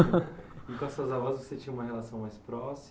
E com essas avós você tinha uma relação mais próxima?